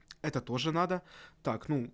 это тоже надо так